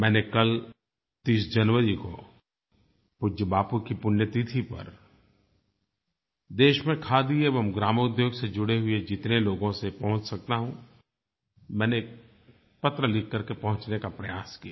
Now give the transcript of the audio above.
मैंने कल 30 जनवरी को पूज्य बापू की पुण्य तिथि पर देश में खादी एवं ग्रामोद्योग से जुड़े हुए जितने लोगों तक पहुँच सकता हूँ मैंने पत्र लिख करके पहुँचने का प्रयास किया